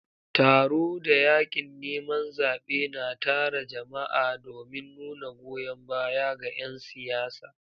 Taro da yakin neman zabe na tara jama'a domin nuna goyon baya ga 'yan siyasa.